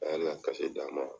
A y'ale ka d'a ma.